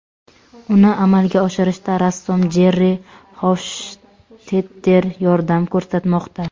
Uni amalga oshirishda rassom Jerri Xofshtetter yordam ko‘rsatmoqda.